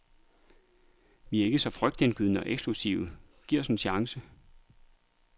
Vi er ikke så frygtindgydende og eksklusive, giv os en chance.